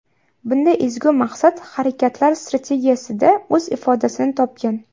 Bunday ezgu maqsad Harakatlar strategiyasida o‘z ifodasini topgan.